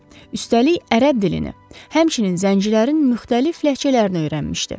Üstəlik ərəb dilini, həmçinin zəncilərin müxtəlif ləhcələrini öyrənmişdi.